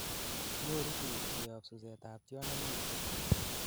nyoru biik koyob suset ab tiondo neinfected